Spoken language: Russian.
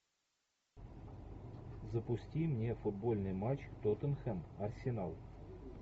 запусти мне футбольный матч тоттенхэм арсенал